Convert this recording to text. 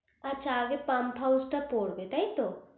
আচ্ছা আগে pump house টা পড়বে টাই তো